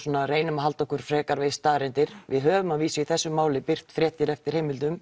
reynum að halda okkur frekar við staðreyndir við höfum að vísu í þessu máli birt fréttir eftir heimildum